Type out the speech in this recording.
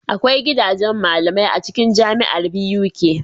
Akwai gidajan malamai acikin jamiar Buk